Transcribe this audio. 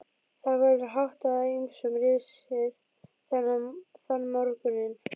Það verður hátt á ýmsum risið þann morguninn.